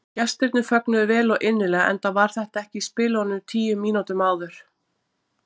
Gestirnir fögnuðu vel og innilega enda var þetta ekki í spilunum tíu mínútum áður.